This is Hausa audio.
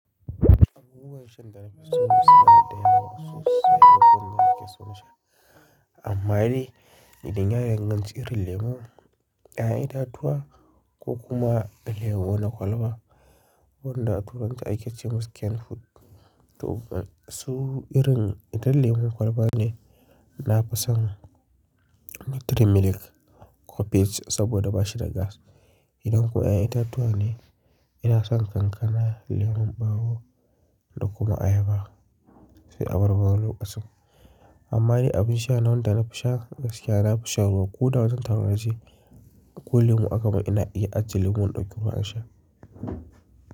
Abubuwan shan da na fi so su na da yawa sosai, ko kuma nake son shan. Amma dai, idan ya danganci irin lemu, 'ya'yan itatuwa ko kuma lemo na kwalba, wanda a turance ake ce masa canned fruit. To kuma su irin idan lemon kwalba ne, na fi son miki trim milk ko peach saboda bashi da gas. Idan kuma 'ya'yan itatuwa ne, ina son kankana, lemon ɓawo da kuma ayaba. Sai abarbar lokacin. Amma dai abin sha na wanda na fi sha gaskiya, na fi sha ruwa. Ko da wangan taro nage ko lemu, aka ban ina iya ajiye lemon ɗauki ruwa in sha.